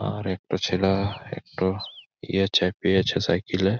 আর একটা ছেলা-আ একটা এ চেপে আছে সাইকেল এ --